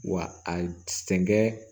Wa a sɛnkɛ